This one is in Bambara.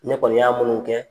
Ne kɔni y'a minnu kɛ